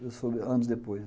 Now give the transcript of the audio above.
Isso foi anos depois.